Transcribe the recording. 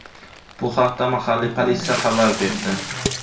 Bu haqda mahalliy politsiya xabar berdi.